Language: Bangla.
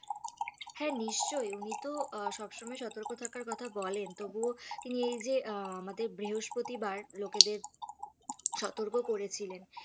হ্যাঁ নিশ্চয়ই উনি তো সবসময় সতর্ক থাকার কথা বলেন তবুও তিনি এই যে আমাদের বৃহস্পতিবার লোকেদের সতর্ক করেছিলেন।